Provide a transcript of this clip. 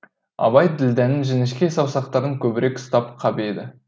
абай ділдәнің жіңішке саусақтарын көбірек ұстап қап еді